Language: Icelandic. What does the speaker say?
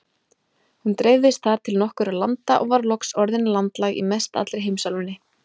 Hún dreifðist þar til nokkurra landa og var loks orðin landlæg í mestallri heimsálfunni.